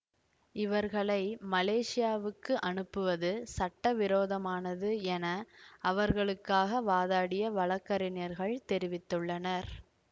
இவர்களை மலேசியாவுக்கு அனுப்புவது சட்டவிரோதமானது என அவர்களுக்காக வாதாடிய வழக்கறிஞர்கள் தெரிவித்துள்ளனர்